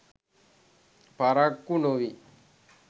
පරක්කු නොවී